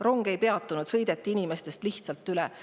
Rong ei peatunud, inimestest sõideti lihtsalt üle.